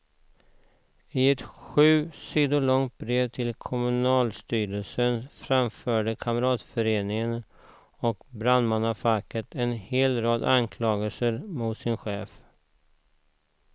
I ett sju sidor långt brev till kommunstyrelsen framförde kamratföreningen och brandmannafacket en hel rad anklagelser mot sin chef.